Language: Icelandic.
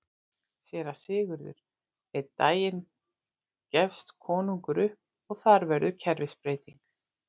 SÉRA SIGURÐUR: Einn daginn gefst konungur upp og þar verður kerfisbreyting!